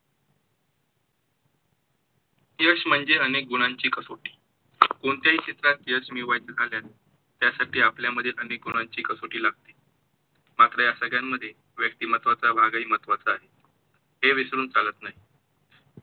यश म्हणजे अनेक गुणांची कसोटी, कोणत्याही क्षेत्रात यश मिळवायचं झाल्यास त्यासाठी आपल्यामध्ये अनेक गुणांची कसोटी लागते. मात्र या सगळ्यांमध्ये व्यक्तिमत्वाचा भाग ही महत्वाचा आहे, हे विसरून चालत नाही.